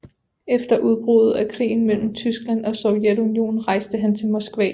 Efter udbruddet af krigen mellem Tyskland og Sovjetunionen rejste han til Moskva